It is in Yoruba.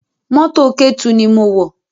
Mọ́tò Ketu ni mo wọ̀